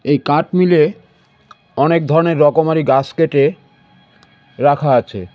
এই কাঠ মিলে অনেক ধরনের রকমারি গাস কেঁটে রাখা আছে .